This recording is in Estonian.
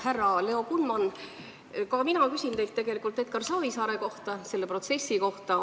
Härra Leo Kunman, mina küsin teilt tegelikult Edgar Savisaare kohta, selle protsessi kohta.